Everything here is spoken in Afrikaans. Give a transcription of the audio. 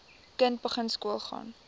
kind begin skoolgaan